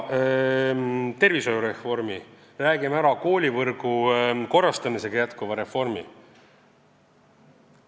... räägime tervishoiureformist, räägime jätkuvast koolivõrgu korrastamise reformist.